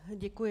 Děkuji.